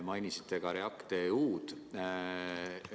Mainisite ka REACT-EU-d.